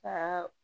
Ka